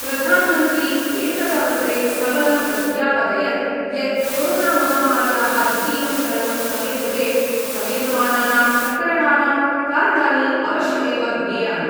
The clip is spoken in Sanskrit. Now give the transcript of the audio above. प्रधामन्त्री एतदवसरे सबलं प्रत्यापदयत् यत् कोरोनामहामार्याः द्वितीयं चरणं समेधते समेधमानानां प्रकरणानां कारणानि अवश्यमेव ज्ञेयानि।